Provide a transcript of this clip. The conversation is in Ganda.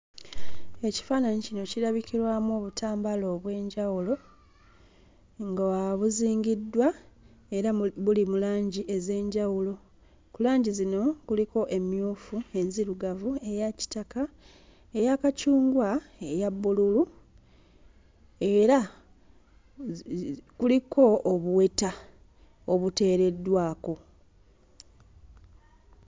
Ekifaananyi kino kirabikiramu obutambaala obw'enjawulo nga buzingiddwa era buli mu langi ez'enjawulo. Ku langi zino kuliko emmyufu, enzirugavu, eya kitaka, eya kacungwa, eya bbululu era kuliko obuweta obuteereddwako.